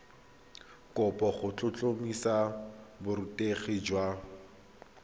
kopo go tlhotlhomisa borutegi jwa